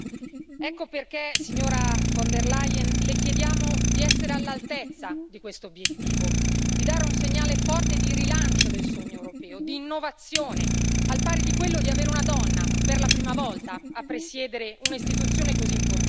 Ecco perché, signora von der Leyen, Le chiediamo di essere all'altezza di questo obiettivo, di dare un segnale forte di rilancio del sogno europeo, di innovazione, al pari di quello di avere una donna per la prima volta a presiedere un'istituzione così importante.